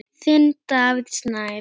Þinn, Davíð Snær.